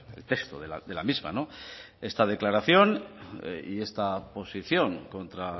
el texto de la misma esta declaración y esta posición contra